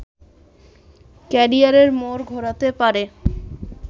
ক্যারিযারের মোড় ঘোরাতে পারে